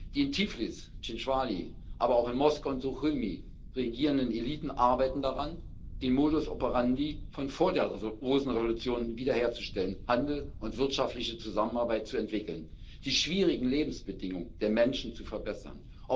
Die in Tiflis, Tchinwali, aber auch in Moskau und Suchumi regierenden Eliten arbeiten daran, den Modus operandi von vor der Rosenrevolution wieder herzustellen, Handel und wirtschaftliche Zusammenarbeit zu entwickeln, die schwierigen Lebensbedingungen der Menschen zu verbessern.